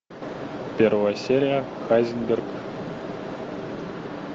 первая серия хайзенберг